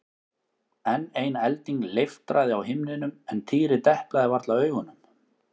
Enn ein elding leiftraði á himninum en Týri deplaði varla augunum.